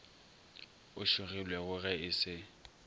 o šogilwego ge e se